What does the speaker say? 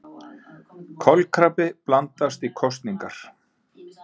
Kolkrabbi blandast í kosningar